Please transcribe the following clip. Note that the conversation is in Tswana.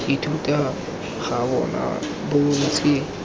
ithuta ga bona bo ntse